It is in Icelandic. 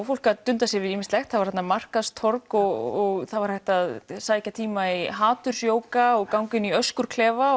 fólk að dunda sér við ýmislegt það var þarna markaðstorg og það var hægt að sækja tíma í hatursjóga og ganga inn í